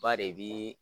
Ba de bi